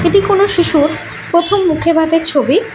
এটি কোনো শিশুর প্রথম মুখেভাতের ছবি।